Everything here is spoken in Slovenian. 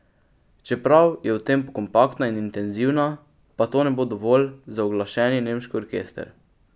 Čeprav je v tem kompaktna in intenzivna, pa to ne bo dovolj za uglašeni nemški orkester.